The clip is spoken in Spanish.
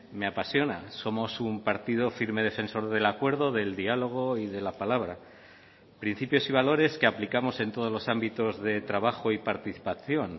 me apasiona somos un partido firme defensor del acuerdo del diálogo y de la palabra principios y valores que aplicamos en todos los ámbitos de trabajo y participación